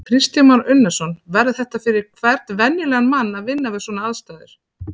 Kristján Már Unnarsson: Verður þetta fyrir hvern venjulegan mann að vinna við svona aðstæður?